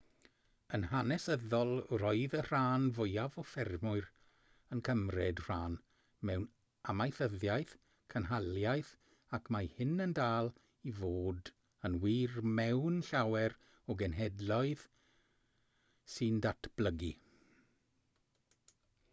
yn hanesyddol roedd y rhan fwyaf o ffermwyr yn cymryd rhan mewn amaethyddiaeth cynhaliaeth ac mae hyn yn dal i fod yn wir mewn llawer o genhedloedd sy'n datblygu